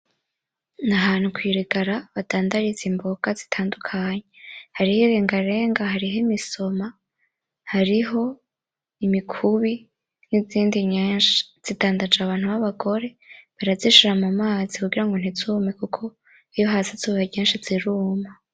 N'ahantu kwirigara badandariza imboga zitandukanye, hariho irengarenga, hariho imisoma, hariho imikubi nizindi nyinshi, zidandaje abantu babagore, barazishira mumazi kugira ntuzume kuko iyo hatse izuba ryinshi ziruma.